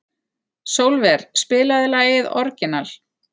Sólver, spilaðu lagið „Orginal“.